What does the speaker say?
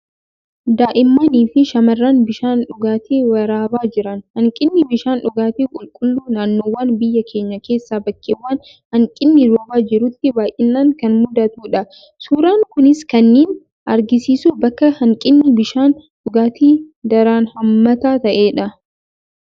Daa'immanii fi shamarran bishaan dhugaatii waraabaa jiran. Hanqinni bishaan dhugaatii qulqulluu naannoowwan biyya keenyaa keessaa bakkeewwan hanqinni roobaa jirutti baay'inaan kan mudatudha. Suuraan kunis kaninni argisiisu bakka hanqinni bishaan dhugaatii daran hammaataa ta'edha.